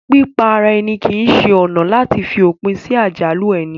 Pípa ara èni kìí se ọ̀nà àti fi òpin sí àjálù ẹni